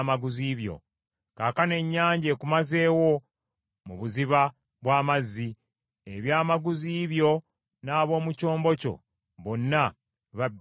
Kaakano ennyanja ekumazeewo, mu buziba bw’amazzi; ebyamaguzi byo n’ab’omu kyombo kyo bonna babbidde naawe.